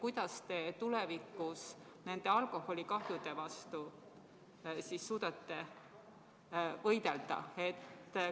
Kuidas te tulevikus alkoholikahjude vastu suudate võidelda?